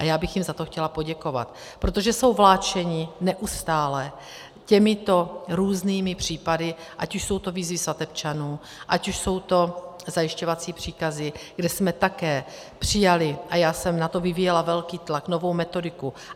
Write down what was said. A já bych jim za to chtěla poděkovat, protože jsou vláčeni neustále těmito různými případy, ať už jsou to výzvy svatebčanů, ať už jsou to zajišťovací příkazy, kde jsme také přijali, a já jsem na to vyvíjela velký tlak, novou metodiku.